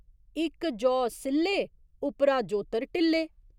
इक जौ सि'ल्ले उप्परा जोतर ढिल्ले।